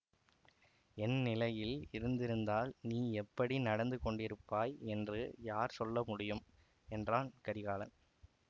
என் நிலையில் இருந்திருந்தால் நீ எப்படி நடந்து கொண்டிருப்பாய் என்று யார் சொல்ல முடியும் என்றான் கரிகாலன்